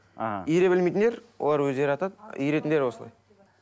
а иіре білмейтіндер олар өздері атады иіретіндер осылай